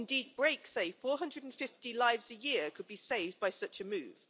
Indeed, BRAKE says that 450 lives a year could be saved by such a move.